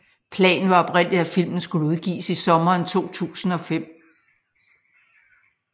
Planen var oprindeligt at filmen skulle udgives i sommeren 2005